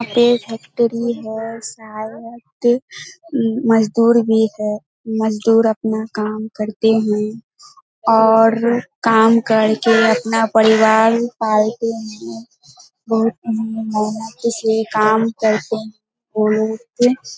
यहाँ पे फैक्ट्री है शायद मजदुर भी है मजदुर अपना काम करते है और काम कर के अपना परिवार पालते है मेहनती से काम करते हैं।